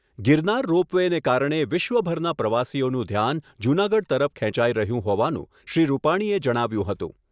Girnar ropeway ને કારણે વિશ્વભરના પ્રવાસીઓનું ધ્યાન જૂનાગઢ તરફ ખેંચાય રહ્યું હોવાનું શ્રી રૂપાણીએ જણાવ્યુંં હતું